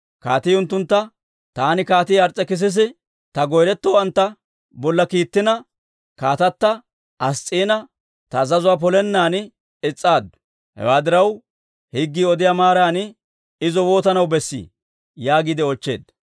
Kaatii unttuntta, «Taani, Kaatii Ars's'ekissisi, ta goyretowanttu bolla kiittina, kaatata Ass's'iina ta azazuwaa polennan is's'aaddu. Hewaa diraw, higgii odiyaa maaran izo waatanaw bessii?» yaagiide oochcheedda.